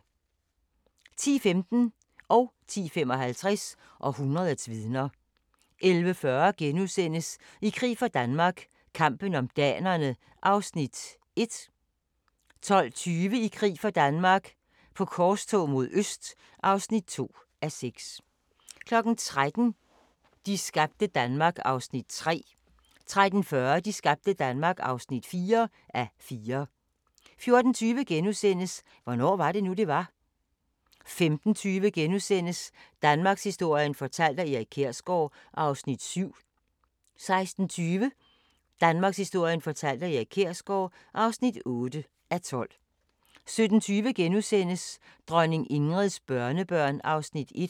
10:15: Århundredets vidner 10:55: Århundredets vidner 11:40: I krig for Danmark - kampen om danerne (1:6)* 12:20: I krig for Danmark - på korstog mod øst (2:6) 13:00: De skabte Danmark (3:4) 13:40: De skabte Danmark (4:4) 14:20: Hvornår var det nu, det var? * 15:20: Danmarkshistorien fortalt af Erik Kjersgaard (7:12)* 16:20: Danmarkshistorien fortalt af Erik Kjersgaard (8:12) 17:20: Dronning Ingrids børnebørn (1:5)*